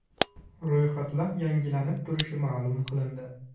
Ro‘yxatlar yangilanib turishi ma’lum qilindi.